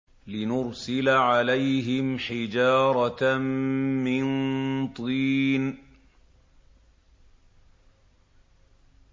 لِنُرْسِلَ عَلَيْهِمْ حِجَارَةً مِّن طِينٍ